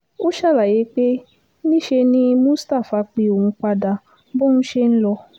ó ṣàlàyé pé níṣe ni mustapha pé òun padà bóun ṣe ń lọ